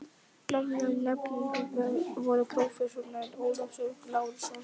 Með mér í nefndinni voru prófessorarnir Ólafur Lárusson